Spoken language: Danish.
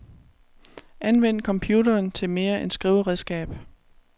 Anvend computeren til mere end skriveredskab.